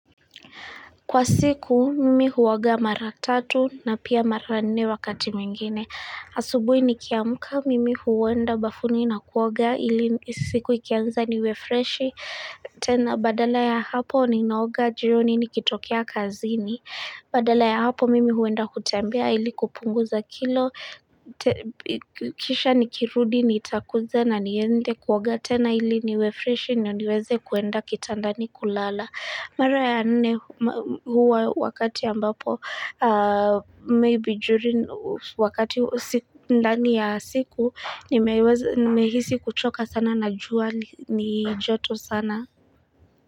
Kwa siku, mimi huoga mara tatu na pia mara nne wakati mwingine. Asubuhi nikiamka, mimi huenda bafuni na kuoga, ili siku ikianza niwefreshi. Tena, badala ya hapo, ninaoga jioni nikitokea kazini. Badala ya hapo, mimi huenda kutembea ili kupunguza kilo. Kisha nikirudi, nitakuja na niende kuoga. Tena, ili niwefreshi, ndio niweze kuenda kitandani kulala. Mara ya nne huwa wakati ambapo, maybe during wakati ndani ya siku, nimehisi kuchoka sana na jua ni joto sana.